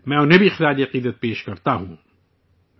میں انہیں بھی تہ دل سے خراج عقیدت پیش کرتا ہوں